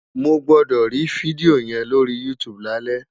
Mo gbọ́dọ̀ rí fídíò yẹn lórí YouTube lálẹ́!